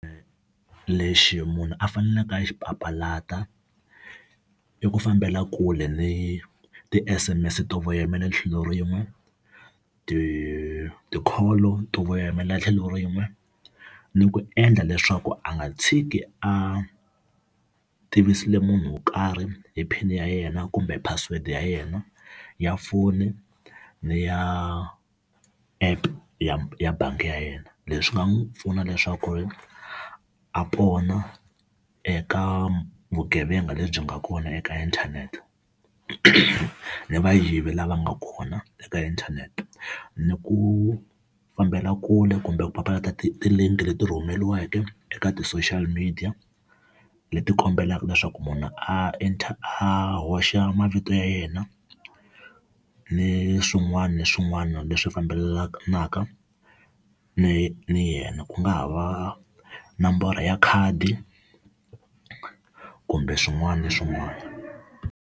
Lexi munhu a faneleke a xi papalata i ku fambela kule ni ti-S_M_S to voyamela tlhelo rin'we, ti ti-call to voyamela tlhelo rin'we. Ni ku endla leswaku a nga tshiki a tivisile munhu wo karhi hi pin ya yena kumbe password ya yena ya foni ni ya app ya ya bangi ya yena. Leswi nga n'wi pfuna leswaku ri a pona eka vugevenga lebyi nga kona eka inthanete ni vayivi lava nga kona eka inthanete. Ni ku fambela kule kumbe ku papalata ti ti-link leti rhumeliweke eka ti-social media leti kombelaka leswaku munhu a a hoxa mavito ya yena ni swin'wana na swin'wana leswi fambelanaka ni na yena, ku nga ha va nomboro ya khadi kumbe swin'wana ni swin'wana.